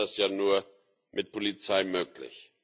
Bisher war das ja nur mit Polizei möglich.